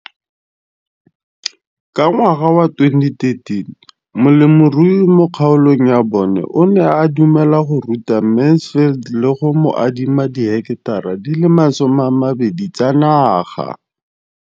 Ka ngwaga wa 2013, molemirui mo kgaolong ya bona o ne a dumela go ruta Mansfield le go mo adima di heketara di le 12 tsa naga.